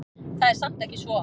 Það er samt ekki svo.